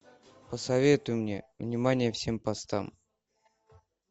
посоветуй мне внимание всем постам